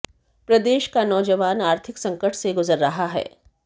प्रदेश के नौजवान आर्थिक संकट से गुजर रहा है